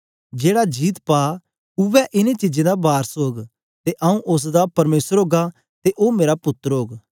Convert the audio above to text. जेड़ा जीत पा उवै ऐ न चीजां दा वारस ओग ते आऊँ उस्स दा परमेसर ओगा ते ओ मेरा पुत्तर ओग